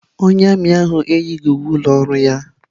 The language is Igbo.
Onye armiị ahụ eyighị uwe ụlọ ọrụ ya.